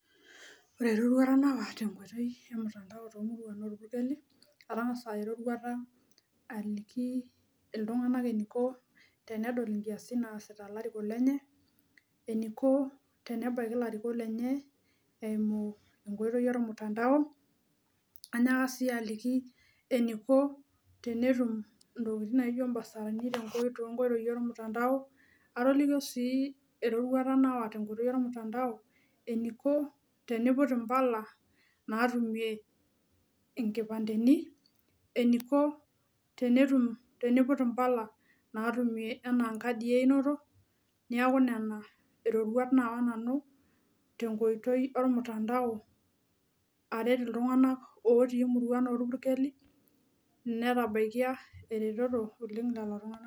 Ore eroruata nawa tenkoitoi e mtandao tomuruan orpukeli atang'asa aya eroruata aliki iltung'anak eniko tenedol inkiasin naasita ilarikok lenye eniko tenebaiki ilarikok lenye eimu enkoitoi ormutandao anyaka sii aliki eniko tenetum intokitin naijio imbasarini tenko tonkoitoi ormutandao atolikio sii eroruata nawa tenkoitoi ormutandao eniko teniput impala natumie inkipandeni eniko tenetum teniput impala natumie enaa inkadii einoto niaku inena iroruat naawa nanu tenkoitoi ormutandao aret otii imuruan orpurkeli netabaikia eretoto oleng lelo tung'anak.